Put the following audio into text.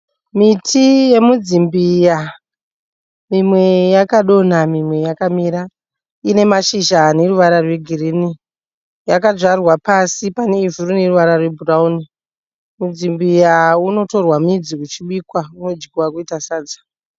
Miti yemidzimbiya mimwe yakadonha mimwe yakamira. Ine mashizha ane ruvara rwegirinhi. Yakadyarwa pasi pane ivhu rine ruvara rwebhurawuni. Midzimbiya unotorwa midzi uchibikwa. Unodyiwa kuita sadza.